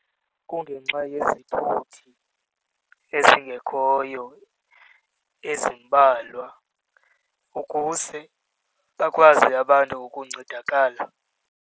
Kungenxa yezithuthi ezingekhoyo, ezimbalwa ukuze bakwazi abantu ukuncedakala.